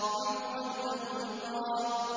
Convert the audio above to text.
عُذْرًا أَوْ نُذْرًا